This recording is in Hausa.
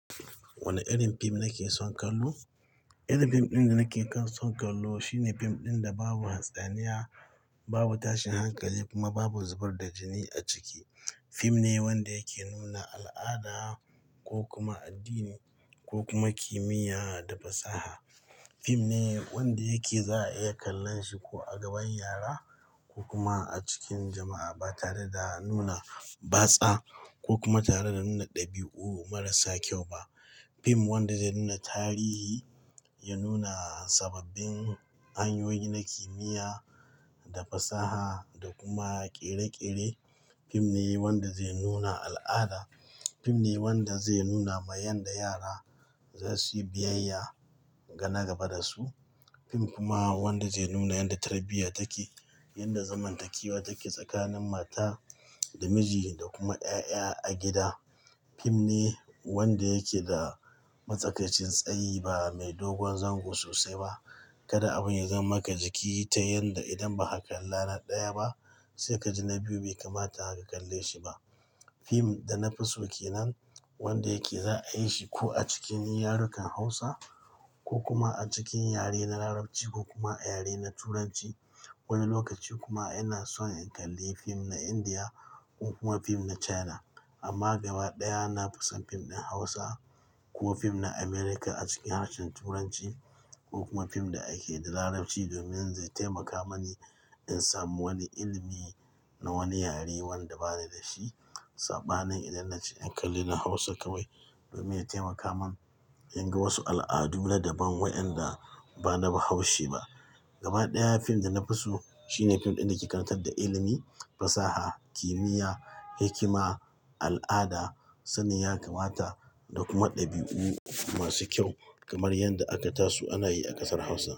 Wane irin fim nake son kallo? Irin fim ɗin da nake kan son kallo shine fim ɗin da babu hatsaniya, babu tashin hankali kuma babu zubar da jini a ciki. Fim ne wanda yake nuna al'ada ko kuma addini ko kuma kimiyya da fasaha. Fim ne wanda yake za a iya kallon shi ko a gaban yara ko kuma a cikin jama'a ba tare da nuna batsa ko kuma tare da nuna ɗabi'u marasa kyau ba. Fim wanda zai nuna tarihi, ya nuna sababbin hanyoyi na kimiyya da fasaha da kuma kere-kere. Fim ne wanda zai nuna al'ada. Fim ne wanda zai nuna ma yanda yara za su yi biyayya ga na gaba da su. Fim kuma wanda zai nuna yadda tarbiyya take, yadda zamantakewa take tsakanin mata da miji da kuma ƴaƴa a gida. Fim ne wanda yake da matsakacin tsayi ba mai dogon zango sosai ba. Kada abun ya zama maka jiki ta yanda idan ba ka kalla na ɗaya ba sai ka ji na biyu bai kamata ka kalle shi ba. Fim da na fi so ke nan wanda yake za a yi shi ko a cikin yarukan Hausa ko kuma a cikin yare na Larabci ko kuma a yare na Turanci. Wani lokaci kuma ina son in kalli fim na Indiya ko kuma fim na China. Amma gaba ɗaya na fi son fim ɗin Hausa ko fim na America a cikin harshen Turanci ko kuma fim da ake da Larabci domin zai taimaka mani in samu wani ilimi na wani yare wanda ba ni da shi. Sabanin idan nace in kalli na Hausa kawai domin ya taimaka mun in ga wasu al'adu na daban wayanda ba na bahaushe ba. Gaba ɗaya fim da na fi so shine fim ɗin da ke karatar da ilimi, fasaha, kimiyya, hikima, al'ada, sanin ya, kamata da kuma ɗabi'u masu kyau kamar yanda aka taso ana yi a ƙasar Hausa.